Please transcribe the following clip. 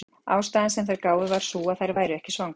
Ástæðan sem þær gáfu var sú að þær væru ekki svangar.